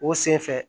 O senfɛ